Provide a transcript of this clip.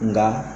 Nka